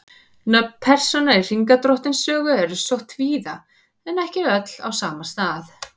Nöfn persóna í Hringadróttinssögu eru sótt víða en ekki öll á sama stað.